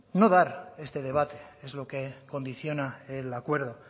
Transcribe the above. no dar este debate es lo que condiciona el acuerdo